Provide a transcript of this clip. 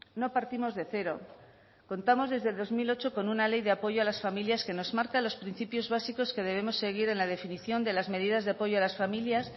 no partimos de cero contamos desde dos mil ocho con una ley de apoyo a las familias que nos marca los principios básicos que debemos seguir en la definición de las medidas de apoyo a las familias